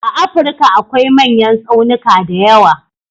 A Afrika akwai manyan tsaunika da yawa.